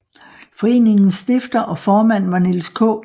Foreningens stifter og formand var Niels K